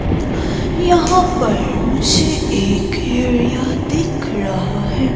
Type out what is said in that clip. यहाँ पर मुझे एक एरिया दिख रहा है।